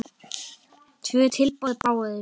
Tvö tilboð bárust.